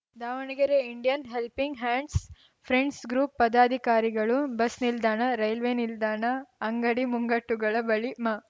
Davanagere Indian helping hands friends group ಪದಾಧಿಕಾರಿಗಳು bus ನಿಲ್ದಾಣ railway ನಿಲ್ದಾಣ ಅಂಗಡಿ ಮುಂಗಟ್ಟುಗಳ ಬಳಿ ಮ